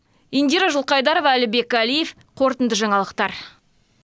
индира жылқайдарова әлібек әлиев қорытынды жаңалықтар